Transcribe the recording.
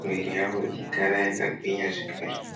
Mwiri yavo ichigara yakagwinya zvakare.